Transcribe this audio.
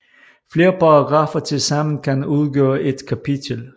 Flere paragraffer tilsammen kan udgøre et kapitel